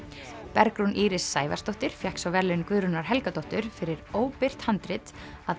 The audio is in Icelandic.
Bergrún Íris Sævarsdóttir fékk svo verðlaun Guðrúnar Helgadóttur fyrir óbirt handrit að